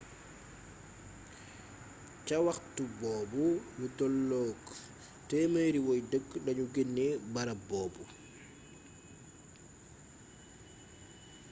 ca waxtu boobu lu tolloog 100 woy dëkk lanu genee barab boobu